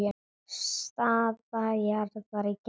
Staða jarðar í geimnum